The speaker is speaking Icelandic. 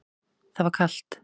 Það var kalt.